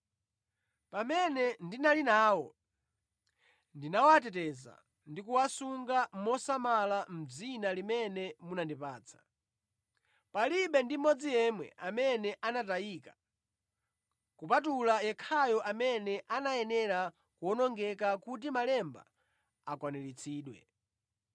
Pamene ndinali nawo, ndinawateteza ndi kuwasunga mosamala mʼdzina limene munandipatsa. Palibe ndi mmodzi yemwe amene anatayika kupatula yekhayo amene anayenera kuwonongeka kuti malemba akwaniritsidwe.